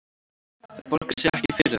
Það borgar sig ekki fyrir þau